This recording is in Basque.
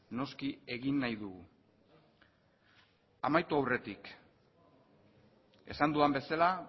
noski egin nahi dugu amaitu aurretik esan dudan bezala